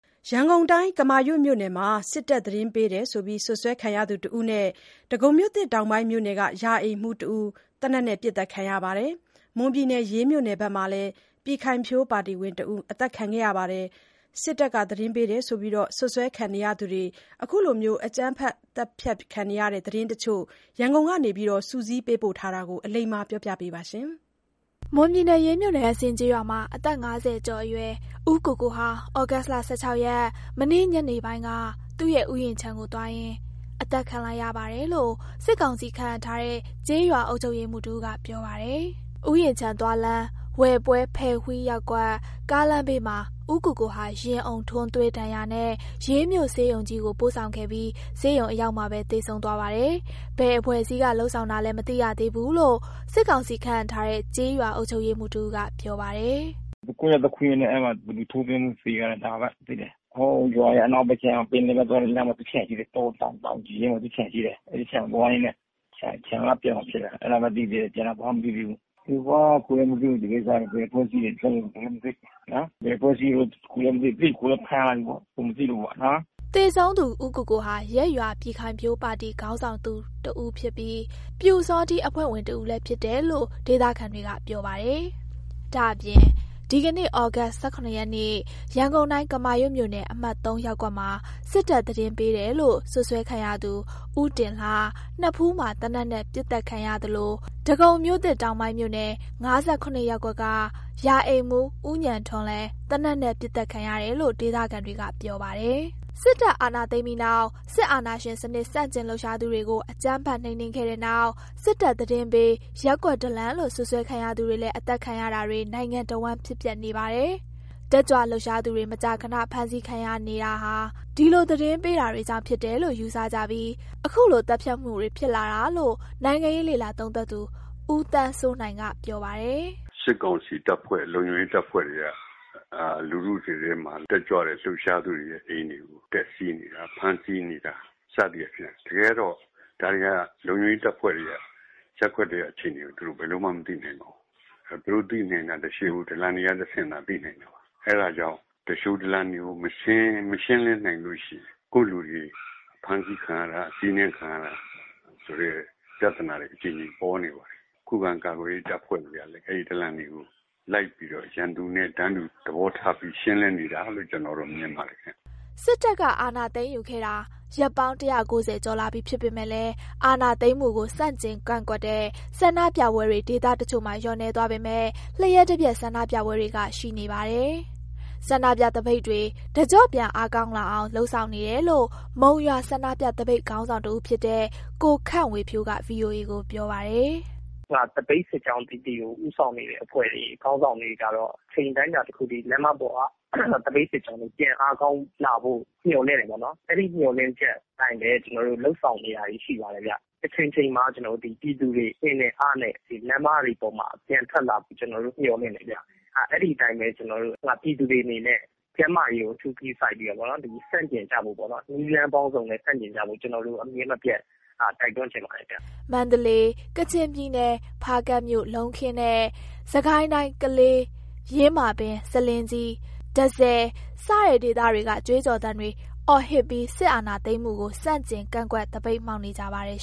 ရန်ကုန်တိုင်း ကမာရွက်မြို့နယ်က စစ်တပ်သတင်းပေးတယ်လို့ စွပ်စွဲခံရသူတဦးနဲ့ ဒဂုံမြို့သစ်တောင်ပိုင်းမြို့နယ် ရာအိမ်မှူး တဦး သေနတ်နဲ့ ပစ်သတ်ခံရပါတယ်။ မွန်ပြည်နယ် ရေးမြို့နယ်မှာလည်း ပြည်ခိုင်ဖြိုးပါတီဝင်တစ်ယောက် အသတ်ခံရပါတယ်။ စစ်တပ်သတင်းပေးတယ်ဆိုပြီး စွပ်စွဲခံရသူတွေ အခုလိုအကြမ်းဖက်သတ်ဖြတ်ခံနေရတဲ့ သတင်းတချို့ ရန်ကုန်က စုစည်းပေးပို့ထားတာ.. အလိမ္မာပြောပြပေးပါမယ်။ မွန်ပြည်နယ် ရေးမြို့နယ် အစင်ကျေးရွာမှာ အသက် ၅၀ ကျော်အရွယ် ဦးကိုကို ဟာ သြဂုတ် ၁၆ ရက် မနေ့ညနေပိုင်းမှာ သူ့ရဲ့ ဥယာဉ်ခြံကို သွားရင် အသတ်ခံလိုက်ရပါတယ်လို့ စစ်ကောင်စီခန့် အပ်ထားတဲ့ ကျေးရွာအုပ်ချုပ်ရေးမှူး တဦးက ပြောပါတယ်။ ဥယျာဉ်ခြံသွားလမ်း ဝယ်ပွဲ-ဖယ်ဝီးရပ်ကွက် ကားလမ်းဘေးမှာ ဦးကိုကိုဟာ ရင်အုံထိုးသွင်းဒဏ်ရာနဲ့ ရေးမြို့ဆေးရုံကြီးကို ပို့ဆောင်ခဲ့ပြီး ဆေးရုံအရောက်မှာပဲ သေဆုံးသွားပါတယ်။ ဘယ်အဖွဲ့အစည်းက လုပ်ဆောင်တာလဲ မသိရသေးဘူးလို့ စစ်ကောင်စီခန့် အပ်ထားတဲ့ ကျေးရွာအုပ်ချုပ်ရေးမှူး တဦးက ပြောပါတယ်။ “သူကွမ်းရွက်သွားခူးရင်းနဲ့ အဲ့မှာ လူထိုးသွင်းမှုနဲ့ သေတာ။ ဒါပဲ သိတယ်။ ဟိုရွာရဲ့ အနောက်ဘက်ခြမ်း ပင်လယ်ဘက်သွားတဲ့ လမ်းမှာ သူ့ခြံရှိတယ် တောတောင် တောင်ကြီးထဲမှာ သူ့ခြံရှိတယ် အဲ့ဒီခြံသွားရင်းနဲ့ ခြံကပြန်လာတာ ဖြစ်တာ အဲ့လောက်ပဲသိသေးတယ် ကျန်တာဘာမှမသိသေးဘူး၊ သူက ကိုယ်လည်းမသိဘူး ဒီကိစ္စက ဘယ်အဖွဲ့အစည်းတွေလုပ်လဲ ကိုယ်လည်း မသိနော် ဘယ်အဖွဲ့အစည်းလည်း ကိုယ်လည်းမသိ သိရင် ကိုယ်လည်း ဖမ်းလိုက်မှာပေါ့ ကိုယ်မသိလို့ပေါ့နော်။” သေဆုံးသူ ဦးကိုကိုဟာရပ်ရွာပြည်ခိုင်ဖြိုးပါတီခေါင်းဆောင်သူတစ်ဦးဖြစ်ပြီး ပျူစောထီးအဖွဲ့ဝင် တစ်ဦးလည်းဖြစ်တယ်လို့ ဒေသခံတွေ ပြောပါတယ်။ ဒါအပြင် ဒီကနေ့ သြဂုတ် ၁၇ ရက်နေ့ ရန်ကုန်တိုင်း ကမာရွက်မြို့နယ် အမှတ် ရပ်ကွက်မှာ စစ်တပ်သတင်းပေးတယ်လို့ စွပ်စွဲခံရသူ ဦးတင်လှ နဖူးမှာ သေနတ်နဲ့ ပစ်သတ်ခံရသလို ဒဂုံမြို့သစ်တောင်ပိုင်းမြို့နယ် ၅၇ ရပ်ကွက်က ရာအိမ်မှူး ဦးဉာဏ်ထွန်းလည်း သေနတ်နဲ့ ပစ်သတ်ခံရတယ်လို့ ဒေသခံတွေက ပြောကြပါတယ်။ စစ်တပ်အာဏာသိမ်းပြီးနောက် စစ်အာဏာရှင်စနစ်ဆန့်ကျင်လှုပ်ရှားသူတွေကို အကြမ်းဖက်နှိမ်နင်းခဲ့တဲ့နောက်၊ စစ်တပ်သတင်းပေး ရပ်ကွက်ဒလန်လို့ စွပ်ဆွဲခံရသူတွေလည်း အသတ်ခံရတာတွေ နိုင်ငံတဝှမ်း ဖြစ်ပျက်နေပါတယ်။ တတ်ကြွလှုပ်ရှားသူတွေ မကြာခဏဖမ်းဆီးခံနေရတာဟာ ဒီလို သတင်းပေးတွေကြောင့် ဖြစ်တယ်လို့ ယူဆကြပြီး အခုလို သတ်ဖြတ်မှုတွေဖြစ်လာတာလို့ နိုင်ငံရေးလေ့လာသုံးသပ်သူ ဦးသန်းစိုးနိုင်က ပြောပါတယ်။ “စစ်ကောင်စီတပ်ဖွ့ဲ လုံခြုံရေးတပ်ဖွဲ့တွေက လူထုတွေထဲမှာ တက်ကြွတဲ့လှုပ်ရှားသူတွေရဲ့အိမ်တွေ တက်စီးနေတာ။ ဖမ်းဆီးနေတာ စသည့်အားဖြင့် တကယ်တော့ ဒါတွေက လုံခြုံရေးတပ်ဖွဲ့တွေက ရပ်ကွက်တွေက အခြေအနေတွေကို သူတို့ ဘယ်လိုမှမသိနိုင်ပါဘူး၊ သူတို့သိနိုင်တာ သူလျှိုဒလန်တွေကတဆင့်သာ သိနိုင်တာပါ၊ အဲ့ဒါကြောင့် သူလျှိဒလန်တွေကို မရှင်းလင်းနိုင်လို့ရှိရင် ကိုယ့်လူတွေ ဖမ်းဆီးခံရတာ အစီးနင်းခံရတာဆိုတဲ့ ပြသနာတွေ အကြိမ်ကြိမ်ပေါ်နေပါတယ်၊ ခံခုကာကွယ်ရေးတပ်ဖွဲ့တွေကလည်း အဲ့ဒီဒလန်တွေကို လိုက်ပြီးတော့ ရန်သူနဲ့ တန်တူသဘောပြီးရှင်းလင်းနေတာလို့ ကျနော်တော့ မြင်ပါတယ်။” စစ်တပ်က အာဏာသိမ်းယူခဲ့တာ ရက်ပေါင်း ၁၉၀ ကျော်လာပြီဖြစ်ပေမယ့်လည်း အာဏာသိမ်းမှုကို ဆန့်ကျင်ကန့်ကွက်တဲ့ ဆန္ဒပြပွဲတွေ ဒေသတချို့မှာ လျော့နည်းသွားပေမယ့် လျှပ်တပြတ်ဆန္ဒပြပွဲတွေက ဆက်ရှိနေပါတယ်။ ဆန္ဒပြသပိတ်တွေ တကျော့ပြန် အားကောင်းလာအောင် လုပ်ဆောင်နေတယ်လို့ မုံရွာဆန္ဒပြသပိတ်ခေါင်းဆောင်တဦးဖြစ်တဲ့ ကိုခန့်ဝေဖြိုးက ဗွီအိုအေကို ပြောပါတယ်။ “သပိတ်စစ်ကြောင်းပီပီဦးဆောင်နေတဲ့အဖွဲ့တွေ ခေါင်းဆောင်တွေကတော့ အချိန်အတိုင်းအတာတစ်ခုထိ လမ်းမပေါ်က သပိတ်စစ်ကြောင်းတွေ ပြန်အားကောင်းလာဖို့ မျှော်လင့်တာပေ့ါနော်၊ အဲ့ဒီမျှော်လင့်ချက်အတိုင်းပဲ ကျနော်တို့လုပ်ဆောင်နေတာတွေပါရှိတယ်ဗျ၊ တစ်ချိန်ချိန်မှာ ကျနော်တို့ ပြည်သူတွေ အင်နဲ့ အားနဲ့ လမ်းမပေါ်မှာ ပြန်ထွက်လာဖို့ ကျနော်တို့ မျှော်လင့်တယ်ဗျ အဲ့ဒီအတိုင်းပဲ ကျနော်တို့ ပြည်သူတွေအနေနဲ့ ကျန်းမာရေးကို အထူးဂရုစိုက်ပြီးတော့နော် ဆန့်ကျင်ကြဖို့ပေါ့နော် နည်းလမ်းပေါင်းစုံနဲ့ ဆန့်ကျင်ကြဖို့ ကျနော်တို့ အမြဲမပျက်တိုက်တွန်းချင်ပါတယ်ဗျ။” မန္တလေး၊ ကချင်ပြည်နယ်၊ ဖားကန့်မြို့၊ လုံးခင်းနဲ့ စစ်ကိုင်းတိုင်း၊ ကလေး၊ ယင်းမာပင်၊ ဆားလင်းကြီး၊ တန့်ဆည် စတဲ့ဒေသတွေက ကြွေးကြော်သံတွေ အော်ဟစ်ပြီး စစ်အာဏာသိမ်းမှုကို ဆန့်ကျင် ကန့်ကွက်သပိတ်မှောက်နေကြပါတယ်